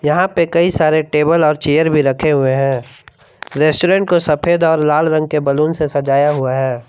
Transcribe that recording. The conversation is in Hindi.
यहां पे कई सारे टेबल और चेयर भी रखे हुए हैं रेस्टुरेंट को सफेद और लाल रंग के बलून से सजाया हुआ है।